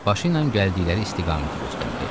Başı ilə gəldikləri istiqaməti göstərdi.